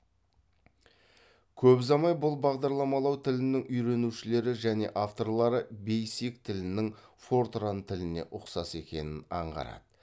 көп ұзамай бұл бағдарламалау тілінің үйренушілері және авторлары бейсик тілінің фортран тіліне ұқсас екенін аңғарады